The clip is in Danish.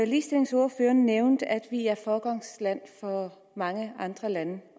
ligestillingsordføreren nævnte at vi er et foregangsland for mange andre lande